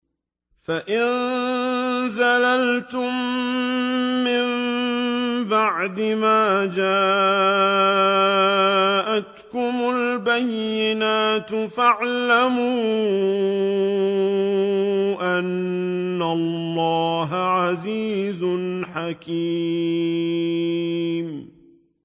فَإِن زَلَلْتُم مِّن بَعْدِ مَا جَاءَتْكُمُ الْبَيِّنَاتُ فَاعْلَمُوا أَنَّ اللَّهَ عَزِيزٌ حَكِيمٌ